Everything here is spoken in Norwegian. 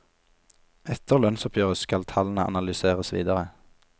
Etter lønnsoppgjøret skal tallene analyseres videre.